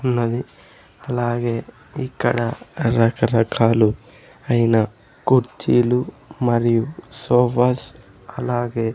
ఉన్నది అలాగే ఇక్కడ రకరకాలు ఐన కుర్చీలు మరియు సోఫాస్ అలాగే--